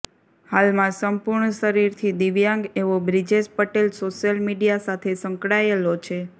હાલમાં સંપૂર્ણ શરીરથી દિવ્યાંગ એવો બ્રિજેશ પટેલ સોશીયલ મિડિયા સાથે સંકળાયેલો છે